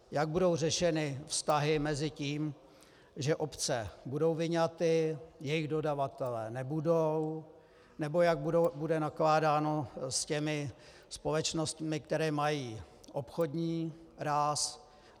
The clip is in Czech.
Jak budou řešeny vztahy mezi tím, že obce budou vyňaty, jejich dodavatelé nebudou, nebo jak bude nakládáno s těmi společnostmi, které mají obchodní ráz?